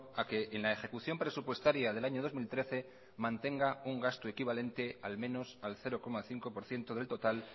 a que en la ejecución presupuestaria del año dos mil trece mantenga un gasto equivalente al menos al cero coma cinco por ciento del total